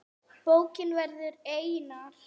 Bókin verður einar